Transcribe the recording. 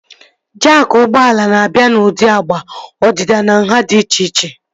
Jaakị ụgbọala na-abịa n'ụdị agba, ọdịdị na nhá dị iche iche